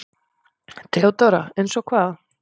THEODÓRA: Eins og hvað?